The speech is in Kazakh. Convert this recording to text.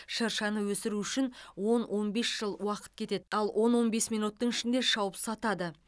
шыршаны өсіру үшін он он бес жыл уақыт кетеді ал он он бес минуттың ішінде шауып сатады